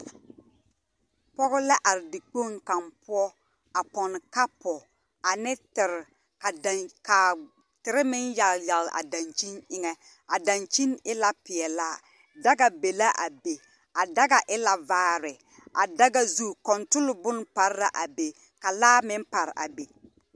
Pͻge la are dikpoŋ kaŋ poͻ, a pͻnne kapo ane tere. A daŋ ka tere meŋ yagele yagele a daŋkyini eŋԑ. A daŋkyini e la peԑlaa. Daga be le a be. A daga e la vaare. A daga zu kͻntole bone pare la a be ka laa meŋ pare a be.